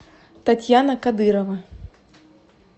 татьяна кадырова